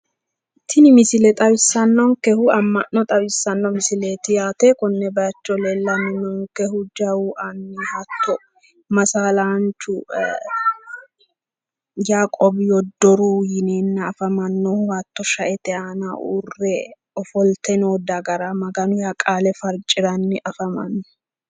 Tini misile xawisanonnikehu ama'no xawisano konne bayicho leelanohu jawu aninnke masaalanchu yaqoobi yoodoruhu yineena affamanohu hatto shaete aanna uure offollite noo dagara maganu qaale fariciranni noo